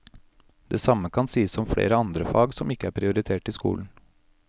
Det samme kan sies om flere andre fag som ikke er prioritert i skolen.